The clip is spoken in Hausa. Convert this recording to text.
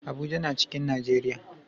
Abuja na cikin Najeriya